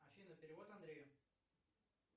афина перевод андрею